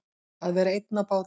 Að vera einn á báti